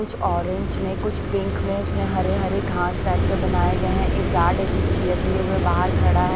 कुछ ऑरेंज में कुछ पिंक में उसमें हरे हरे घास टाइप के बनाए गए हैं एक गार्ड है जो चेयर लिए हुए बाहर खड़ा --